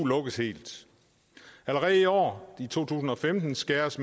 lukkes helt allerede i år i to tusind og femten skæres